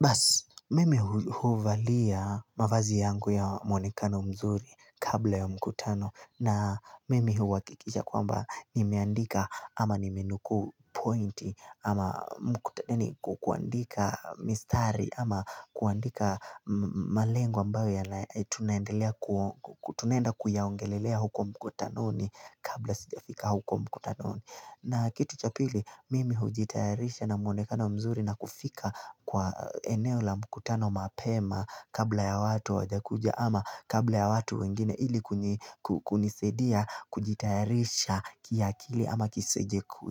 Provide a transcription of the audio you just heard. Basi, mimi huvalia mavazi yangu ya mwonekano mzuri kabla ya mkutano na mimi huakikisha kwamba nimeandika ama nimenukuu pointi ama mkutani ni kuandika mistari ama kuandika malengo ambayo tunaenda kuyaongelelea huko mkutano ni kabla sijafika huko mkutanoni. Na kitu cha pili mimi hujitayarisha na mwonekana mzuri na kufika kwa eneo la mkutano mapema kabla ya watu hawajakuja ama kabla ya watu wengine ilikunisaidia kujitayarisha kiakili ama